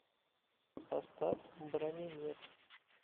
поставь бранимир